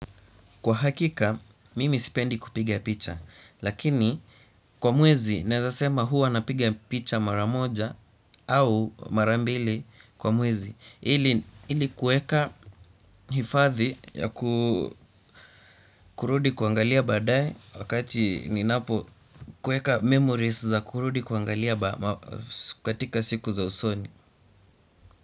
Kwa hakika, mimi sipendi kupigia picha. Lakini, kwa mwezi, naeza sema huwa napiga picha mara moja au mara mbili kwa mwezi. Ili kuweka hifadhi ya kurudi kuangalia baadaye wakati ninapo kuweka memories za kurudi kuangalia katika siku za usoni.